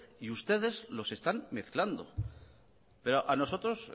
y ustedes los están mezclando pero a nosotros